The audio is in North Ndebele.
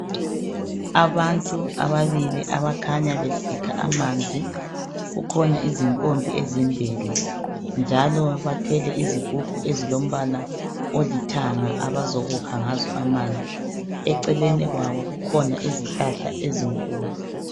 Abantu ababili abakhanya besikha amanzi. Kukhona izimpompi ezimbili njalo bathwele izigubhu ezilombala olithanga abazokukha ngazo amanzi . Eceleni kwabo kukhona izihlahla ezinkulu.